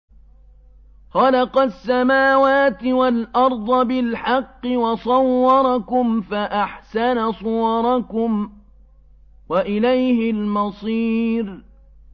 خَلَقَ السَّمَاوَاتِ وَالْأَرْضَ بِالْحَقِّ وَصَوَّرَكُمْ فَأَحْسَنَ صُوَرَكُمْ ۖ وَإِلَيْهِ الْمَصِيرُ